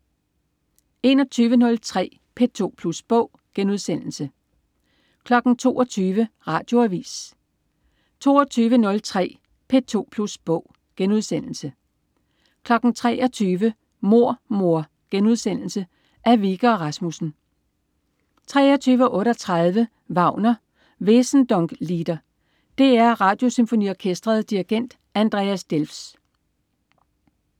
21.03 P2 Plus Bog* 22.00 Radioavis 22.03 P2 Plus Bog* 23.00 Mord mor.* Af Wikke og Rasmussen 23.38 Wagner: Wesendonck-Lieder. DR Radiosymfoniorkestret. Dirigent: Andreas Delfs